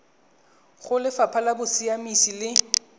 go lefapha la bosiamisi le